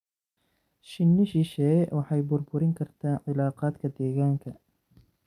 Shinni shisheeye waxay burburin kartaa cilaaqaadka deegaanka.